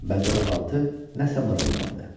Və dodaqaltı nəsə mırıldandı.